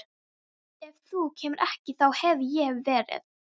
Ef þú kemur ekki þá hef ég verið